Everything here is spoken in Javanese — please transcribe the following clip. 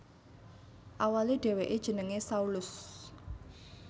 Awalé dhèwèké jenengé Saulus